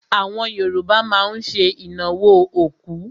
Àwọn Yorùbá má ń ṣe ìnáwó òkú.